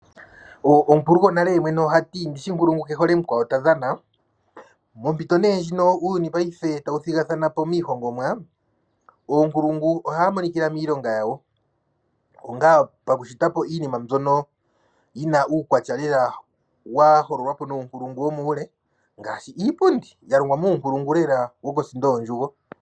Omukulu gonale ohati 'nkulungu ke hole mukwawo ta dhana' mompito ndjino uuyuni tawu thigathana po miihongomwa oonkulungu ohadhi monika miilonga yawo pakushita po iinima mbyono yi na uukwatya lela wa hololwa po muunkulungu womuule ngaashi iipundi ya longwa muunkulungu lela wokosindo yondjugo.